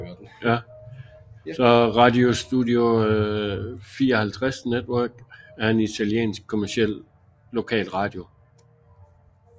Radio Studio 54 Network er en italiensk kommerciel lokalradio